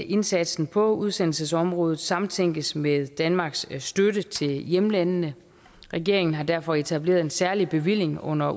indsatsen på udsendelsesområdet samtænkes med danmarks støtte til hjemlandene regeringen har derfor etableret en særlig bevilling under